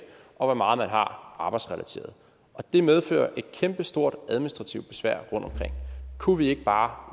og hvor meget man har der arbejdsrelateret det medfører et kæmpestort administrativt besvær rundtomkring kunne vi ikke bare